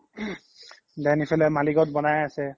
then ইফালে মালিগওত বনাইয়ে আছে